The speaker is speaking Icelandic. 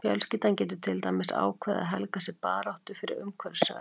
Fjölskyldan getur til dæmis ákveðið að helga sig baráttu fyrir umhverfisvernd.